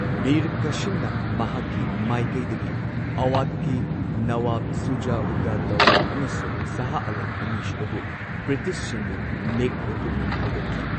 ꯃꯤꯔ ꯀꯥꯁꯤꯝꯅ ꯃꯍꯥꯛꯀꯤ ꯃꯥꯏꯀꯩꯗꯒꯤ ꯑꯋꯥꯙꯀꯤ ꯅꯋꯥꯕ ꯁꯨꯖꯥ ꯎꯗ ꯗꯥꯎꯂꯥ ꯑꯃꯁꯨꯡ ꯁꯥꯍ ꯑꯥꯂꯝ ꯑꯅꯤ ꯁꯨꯕꯕꯨ ꯕ꯭ꯔꯤꯇꯤꯁꯁꯤꯡꯕꯨ ꯅꯦꯛꯅꯕ ꯄꯨꯛꯅꯤꯡ ꯊꯧꯒꯠꯈꯤ꯫